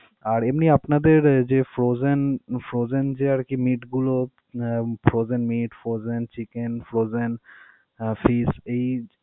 আর এমনি আপনাদের উহ যে frozen, frozen যে আর কি meat গুলো frozen meat, frozen chicken, frozen fish.